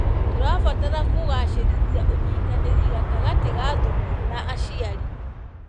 Tũrabatra kũgacĩrithia ũnyitanĩri gatagatĩ ka thukuru na aciari.